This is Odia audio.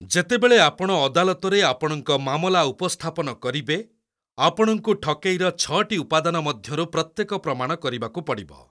ଯେତେବେଳେ ଆପଣ ଅଦାଲତରେ ଆପଣଙ୍କ ମାମଲା ଉପସ୍ଥାପନ କରିବେ, ଆପଣଙ୍କୁ ଠକେଇର ଛଅଟି ଉପାଦାନ ମଧ୍ୟରୁ ପ୍ରତ୍ୟେକ ପ୍ରମାଣ କରିବାକୁ ପଡ଼ିବ।